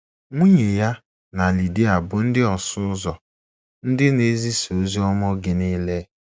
Nwunye ya na Lidia bụ ndị ọsụ ụzọ, ndị na - ezisa ozi ọma oge nile.